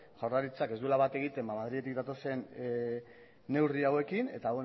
jaurlaritzak ez duela bat egiten madriletik datozen neurri hauekin eta